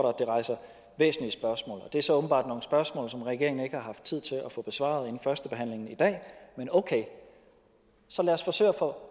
at det rejser væsentlige spørgsmål og det er så åbenbart nogle spørgsmål som regeringen ikke har haft tid til at få besvaret inden førstebehandlingen i dag men okay så lad os forsøge at få